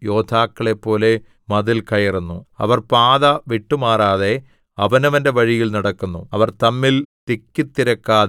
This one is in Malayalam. അവർ വീരന്മാരെപ്പോലെ ഓടുന്നു യോദ്ധാക്കളെപ്പോലെ മതിൽ കയറുന്നു അവർ പാത വിട്ടുമാറാതെ അവനവന്റെ വഴിയിൽ നടക്കുന്നു